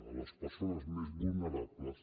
a les persones més vulnerables